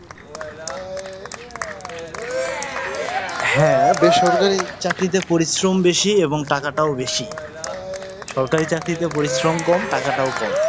হ্যাঁ, বেসরকারি চাকরিতে পরিশ্রম বেশি এবং টাকাটাও বেশি। সরকারি চাকরিতে পরিশ্রম কম, টাকাটাও কম।